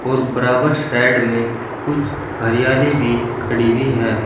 और बराबर साइड में कुछ हरियाली भी खड़ी हुई है।